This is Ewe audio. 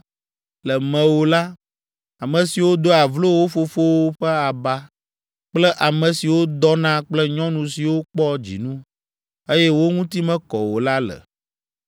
Le mewò la, ame siwo doa vlo wo fofowo ƒe aba kple ame siwo dɔna kple nyɔnu siwo kpɔ dzinu, eye wo ŋuti mekɔ o la le.